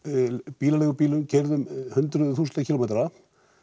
bílaleigum bílaleigum keyrðum hundruðum þúsunda kílómetra